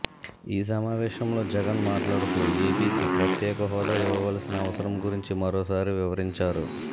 ఈ సమావేశంలో జగన్ మాట్లాడుతూ ఏపీకి ప్రత్యేక హోదా ఇవ్వవలసిన అవసరం గురించి మరోసారి వివరించారు